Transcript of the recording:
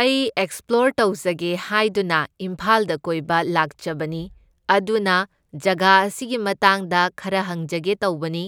ꯑꯩ ꯑꯦꯛꯁꯄ꯭ꯂꯣꯔ ꯇꯧꯖꯒꯦ ꯍꯥꯢꯗꯨꯅ ꯏꯝꯐꯥꯜꯗ ꯀꯣꯏꯕ ꯂꯥꯛꯆꯕꯅꯤ, ꯑꯗꯨꯅ ꯖꯒꯥ ꯑꯁꯤꯒꯤ ꯃꯇꯥꯡꯗ ꯈꯔ ꯍꯪꯖꯒꯦ ꯇꯧꯕꯅꯤ,